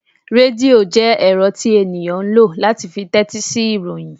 Redio jẹ ẹrọ tí ènìyàn ń lọ láti fí tẹtisi ìròyìn.